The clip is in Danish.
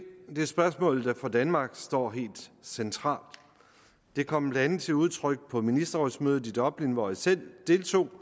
spørgsmål der for danmark står helt centralt det kom blandt andet til udtryk på ministerrådsmødet i dublin hvor jeg selv deltog